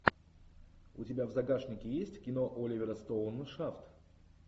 у тебя в загашнике есть кино оливера стоуна шафт